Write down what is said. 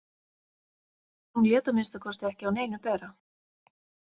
Hún lét að minnsta kosti ekki á neinu bera.